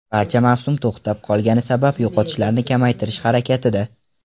Barcha mavsum to‘xtab qolgani sabab yo‘qotishlarni kamaytirish harakatida.